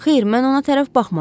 Xeyr, mən ona tərəf baxmadım.